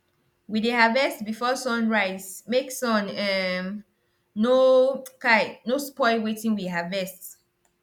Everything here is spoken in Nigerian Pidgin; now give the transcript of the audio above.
we dey harvest before sun rise make sun um no um no spoil wetin we harvest